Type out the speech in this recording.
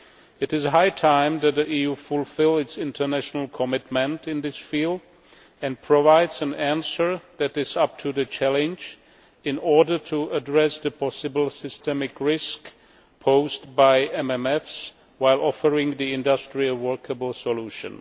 It is high time that the EU fulfilled its international commitment in this field and provided some answers that are up to the challenge in order to address the possible systemic risk posed by MMFs while offering the industry a workable solution.